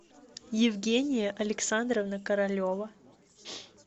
евгения александровна королева